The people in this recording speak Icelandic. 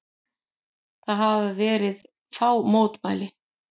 Það hafa verið fá mótmæli